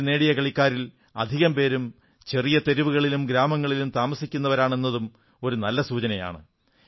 medal നേടിയ കളിക്കാരിൽ അധികം പേരും ചെറിയ തെരുവുകളിലും ഗ്രാമങ്ങളിലും താമസിക്കുന്നവരാണ് എന്നതും ഒരു നല്ല സൂചനയാണ്